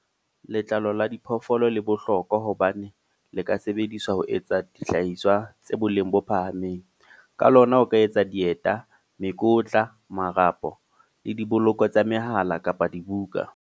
Letlalo la diphoofolo le bohlokwa hobane le ka sebediswa ho etsa dihlahiswa tse boleng bo phahameng. Ka lona o ka etsa dieta, mekotla, marapo, le diboloko tsa mehala kapa dibuka.